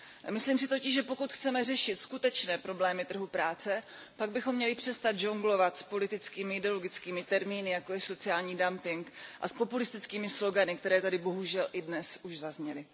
Myslím si totiž, že pokud chceme řešit skutečné problémy trhu práce, pak bychom měli přestat žonglovat s politickými a ideologickými termíny, jako je sociální dumping, a s populistickými slogany, které tady bohužel i dnes už zazněly.